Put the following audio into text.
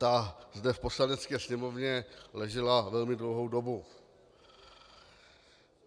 Ta zde v Poslanecké sněmovně ležela velmi dlouhou dobu.